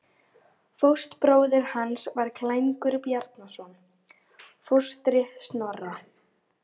Fóstbróðir hans var Klængur Bjarnason, fóstri Snorra.